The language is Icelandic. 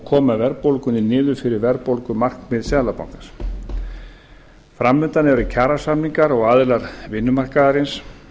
koma verðbólgunni niður fyrir verðbólgumarkmið seðlabankans fram undan eru kjarasamningar og aðilar vinnumarkaðarins